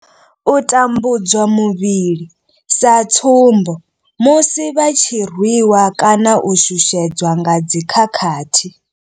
U tambudzwa muvhili sa tsumbo, musi vha tshi rwi wa kana u shushedzwa nga dzi khakhathi.